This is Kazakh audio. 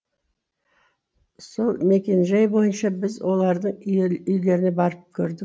сол мекенжай бойынша біз олардың үйлеріне барып көрдік